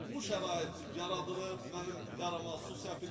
Bu şərait yaradılıb, mənim yarama su sətilib.